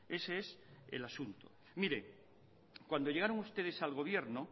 ese es el asunto mire cuando llegaron ustedes al gobierno